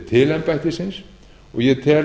til embættisins og ég tel